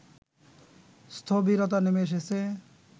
স্থবিরতা নেমে এসেছে